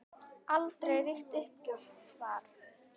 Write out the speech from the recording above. Aldrei ríkti uppgjöf þar.